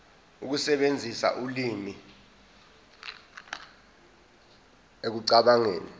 ukusebenzisa ulimi ekucabangeni